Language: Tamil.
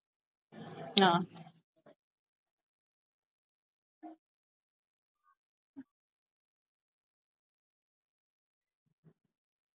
ஆஹ்